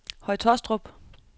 Høje Tåstrup